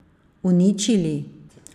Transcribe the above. Uničili?